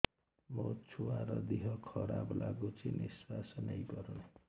ମୋ ଛୁଆର ଦିହ ଖରାପ ଲାଗୁଚି ନିଃଶ୍ବାସ ନେଇ ପାରୁନି